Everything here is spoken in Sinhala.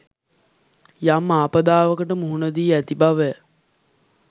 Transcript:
යම් ආපදාවකට මුහුණ දී ඇති බව